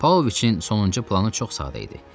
Pavloviçin sonuncu planı çox sadə idi.